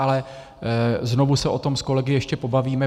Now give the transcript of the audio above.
Ale znovu se o tom s kolegy ještě pobavíme.